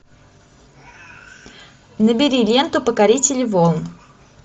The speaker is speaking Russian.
набери ленту покорители волн